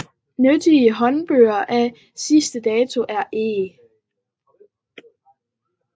Nyttige håndbøger af senere dato er E